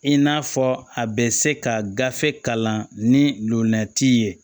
I n'a fɔ a bɛ se ka gafe kalan ni lomarati ye